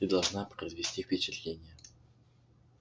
ты должна произвести впечатление